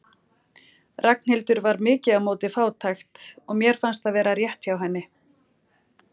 Ragnhildur var mikið á móti fátækt og mér fannst það vera rétt hjá henni.